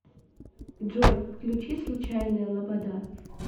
джой включи случайная лобода